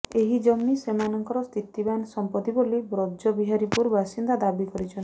ଏହି ଜମି ସେମାନଙ୍କର ସ୍ଥିତିବାନ ସମ୍ପତ୍ତି ବୋଲି ବ୍ରଜବିହାରୀପୁର ବାସିନ୍ଦା ଦାବି କରିଛନ୍ତି